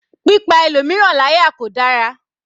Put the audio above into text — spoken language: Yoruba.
Pípa ẹlòmíràn láyà kò dára.